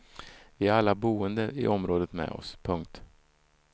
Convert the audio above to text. Vi har alla boende i området med oss. punkt